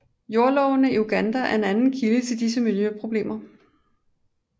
Jordlovene i Uganda er en anden kilde til disse miljøproblemer